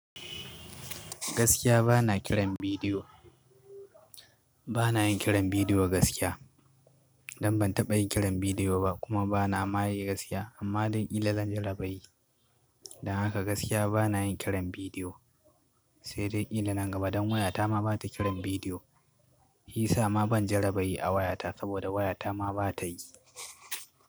Gaskiya bana kiran bidiyo. Bana yin kiran bidiyo gaskiya. Dan ban taɓa yin kiran bidiyo ba kuma bana ma yi gaskiya amma don kila zan jaraba yi Dan haka gaskiya bana yin kiran bidiyo. Sai dai kila nan gaba don wayata ma ba ta kiran bidiyo. Yi sa ma ban jaraba yi a wayata saboda wayata ma ba ta yi.